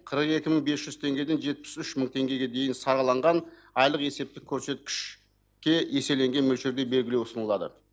қырық екі мың бес жүз теңгеден жетпіс үш мың теңгеге дейін сараланған айлық есептік көрсеткіш ке еселенген мөлшерде берілу ұсынылады